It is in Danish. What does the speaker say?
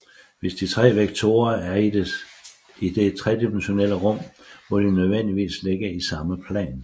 Hvis de tre vektorer er i det tredimensionale rum må de nødvendigvis ligge i samme plan